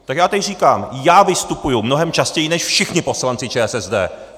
Tak já tady říkám - já vystupuju mnohem častěji než všichni poslanci ČSSD!